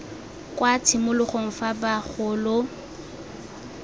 kwa tshimologong fa ba gola